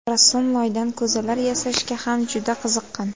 Rassom loydan ko‘zalar yasashga ham juda qiziqqan.